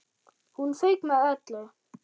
Hún fauk með öllu.